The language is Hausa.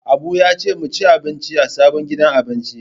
Abu ya ce mu ci abinci a sabon gidan abinci.